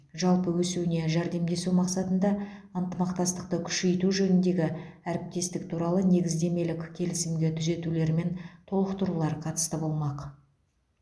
жалпы өсуіне жәрдемдесу мақсатында ынтымақтастықты күшейту жөніндегі әріптестік туралы негіздемелік келісімге түзетулер мен толықтырулар қатысты болмақ